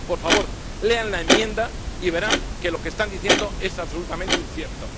Por favor, lean la enmienda y verán que lo que están diciendo es absolutamente incierto.